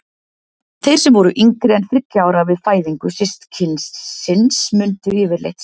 Þeir sem voru yngri en þriggja ára við fæðingu systkinisins mundu yfirleitt sáralítið.